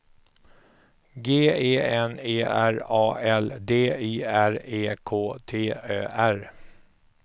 G E N E R A L D I R E K T Ö R